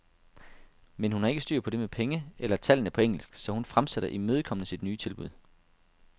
Men hun har ikke styr på det med penge eller tallene på engelsk, så hun fremsætter imødekommende sit nye tilbud.